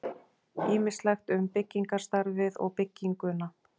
Ýmislegt um byggingarstarfið og bygginguna.